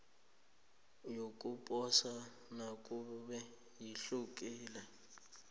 yokuposa nakube ihlukile